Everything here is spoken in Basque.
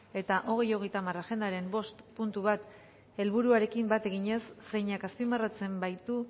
eta bi mila hogeita hamar agendaren bost puntu bat helburuarekin bat eginez zeinak azpimarratzen baitu